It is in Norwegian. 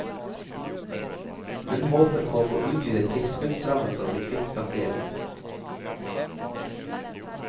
Hun håper på å få utvidet tilskuddsrammen for å bli kvitt skattegjelden.